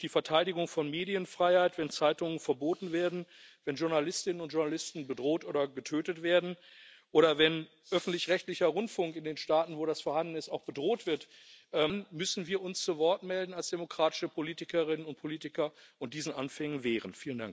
Durch die Verteidigung von Medienfreiheit, wenn Zeitungen verboten werden, wenn Journalistinnen und Journalisten bedroht oder getötet werden oder wenn öffentlich rechtlicher Rundfunk in den Staaten, wo das vorhanden ist, auch bedroht wird, dann müssen wir uns als demokratische Politikerinnen und Politiker zu Wort melden und diesen Anfängen wehren.